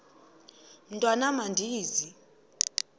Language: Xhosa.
mntwan am andizi